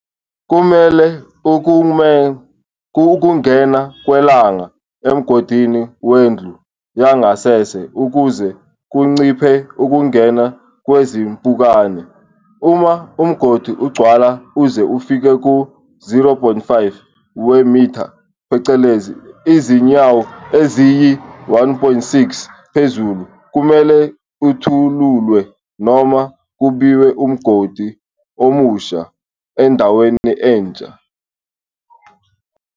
Kumele ukume ukungena kwelanga emgodini wendlu yangasese ukuze kunciphe ukungena kwezimpukane. Uma umgodi ugcwala uze ufike ku-0.5 wemith, phecelezi, izinyawo eziyi-1.6, phezulu, kumele uthululwe noma kumbiwe umgodi omusha endaweni entsha.